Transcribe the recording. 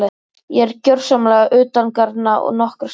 Ég er gjörsamlega utangarna nokkra stund.